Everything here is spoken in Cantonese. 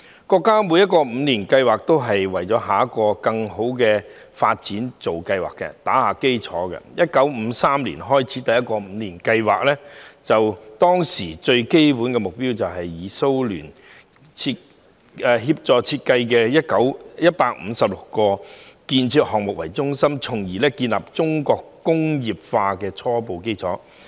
國家每個五年計劃都是為下一個更好的發展做計劃、打基礎，而第一個五年計劃始於1953年，當時的基本目標是以前蘇聯協助設計的156項建設項目為中心，建立起中國工業化的初步基礎。